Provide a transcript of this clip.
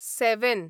seven